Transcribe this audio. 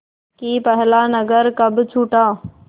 कि पहला नगर कब छूटा